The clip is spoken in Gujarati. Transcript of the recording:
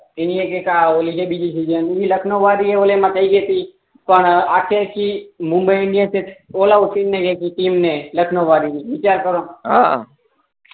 ઇન્ડિયા કે આ ઓલી કઈ બીજી જગ્યા એ લખનઉ વાળી પણ મુંબઈ ઇન્ડિયા કે ઓલા ઓપનીંગ મા ગઈ હતી ટીમને લખનઉ વાળી વિચાર કરો હા